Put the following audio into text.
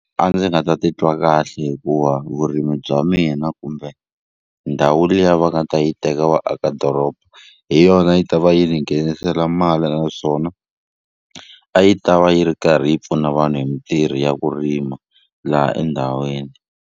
A ndzi nga ta titwa kahle hikuva vurimi bya mina kumbe ndhawu liya va nga ta yi teka va aka doroba hi yona a yi ta va yi ni nghenisela mali naswona a yi ta va yi ri karhi yi pfuna vanhu hi mintirho ya ku rima laha endhawini.